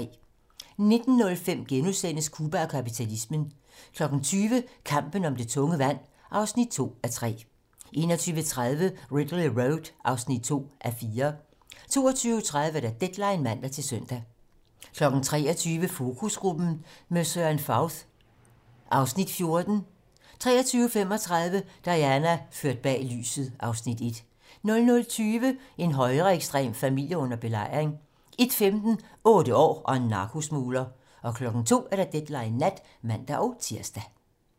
19:05: Cuba og kapitalismen * 20:00: Kampen om det tunge vand (2:3) 21:30: Ridley Road (2:4) 22:30: Deadline (man-søn) 23:00: Fokusgruppen - med Søren Fauth (Afs. 14) 23:35: Diana - ført bag lyset (Afs. 1) 00:20: En højreekstrem familie under belejring 01:15: 8 år og narkosmugler 02:00: Deadline nat (man-tir)